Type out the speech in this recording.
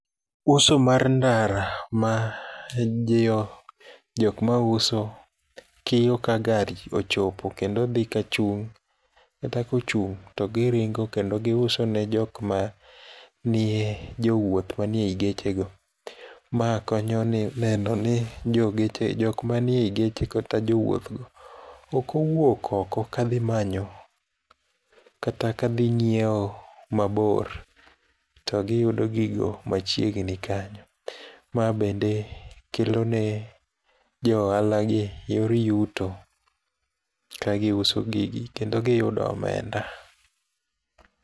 Uso mar ndara ma jiwo jok ma uso kiyo ka gari ochopo kendo dhi kachung' kata kochung' to giringo kendo gi usone jokmanie jowuoth manie ii gechego. Ma konyoni neno ni jo geche jok manie ii geche kata jowuothgo ok owuok oko ka dhi manyo kata kadhi nyiewo mabor to giyudo gigo machiegni kanyo. Ma bende kelone jo ohalagi yor yuto ka gi uso gigi kendo giyudo omenda.